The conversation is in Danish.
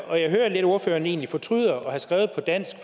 jeg hører at ordføreren egentlig lidt fortryder at have skrevet på dansk